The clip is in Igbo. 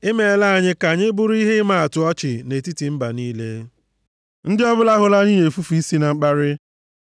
I meela anyị ka anyị bụrụ ihe ịmaatụ ọchị nʼetiti mba niile, ndị ọbụla hụrụ anyị na-efufe isi na mkparị.